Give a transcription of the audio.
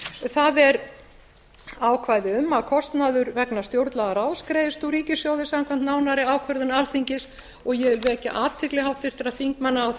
það er ákvæði um að kostnaður vegna stjórnlagaráðs greiðist úr ríkissjóði samkvæmt nánari ákvörðun alþingis og ég vil vekja athygli háttvirtra þingmanna á